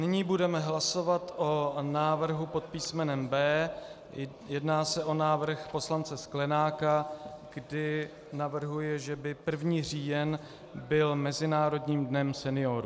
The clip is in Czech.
Nyní budeme hlasovat o návrhu pod písmenem B. Jedná se o návrh poslance Sklenáka, kdy navrhuje, že by 1. říjen byl Mezinárodním dnem seniorů.